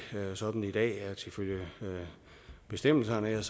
sådan i dag ifølge bestemmelserne